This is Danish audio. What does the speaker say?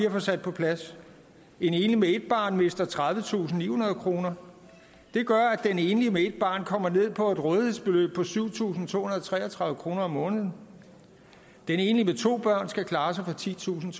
at få sat på plads en enlig med et barn mister tredivetusinde og nihundrede kroner det gør at den enlige med et barn kommer ned på et rådighedsbeløb på syv tusind to hundrede og tre og tredive kroner om måneden den enlige med to børn skal klare sig for titusinde